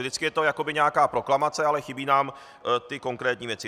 Vždycky je to jakoby nějaká proklamace, ale chybí nám ty konkrétní věci.